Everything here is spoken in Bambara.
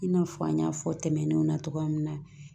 I n'a fɔ an y'a fɔ tɛmɛnenw na cogoya min na